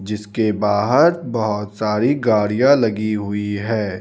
जिसके बाहार बहोत सारी गाड़ियां लगी हुई है.